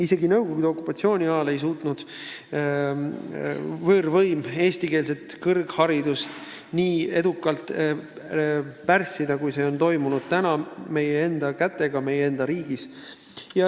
Isegi Nõukogude okupatsiooni ajal ei suutnud võõrvõim eestikeelset kõrgharidust nii edukalt pärssida, kui seda on tehtud meie enda kätega meie enda riigis.